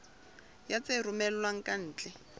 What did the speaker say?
ya tse romellwang ka ntle